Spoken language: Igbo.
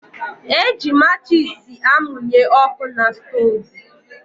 Eji matchis amunye ọkụ na stoovú.